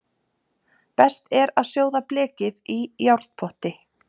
Best er að sjóða blekið í járnpotti.